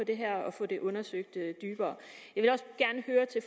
det her og få det undersøgt dybere jeg vil